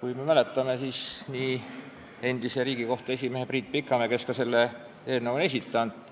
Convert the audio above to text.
Kui me mäletame, siis nii endise Riigikohtu esimehe Priit Pikamäe, kes selle eelnõu on esitanud,